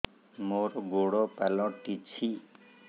ମୋର ଗୋଡ଼ ପାଲଟିଛି